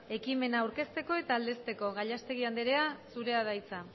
ekimena aurkezteko eta aldezteko gallastegui andrea zurea da hitza